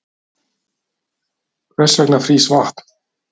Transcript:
Hvers vegna frýs vatn?